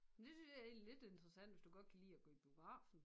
Men det synes jeg egentlig er lidt interessant hvis du godt kan lide at gå i biografen